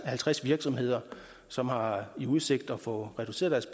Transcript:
halvtreds virksomheder som har i udsigt at få reduceret